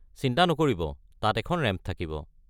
চিন্তা নকৰিব, তাত এখন ৰেম্প থাকিব।